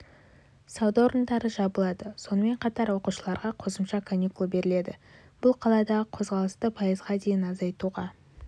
сауда орындары жабылады сонымен қатар оқушыларға қосымша каникул беріледі бұл қаладағы қозғалысты пайызға дейін азайтуға